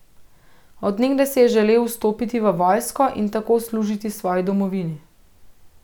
Od nekdaj si je želel vstopiti v vojsko in tako služiti svoji domovini.